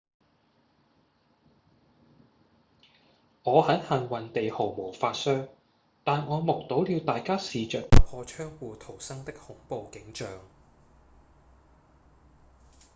「我很幸運地毫髮無傷但我目睹了大家試著打破窗戶逃生的恐怖景象」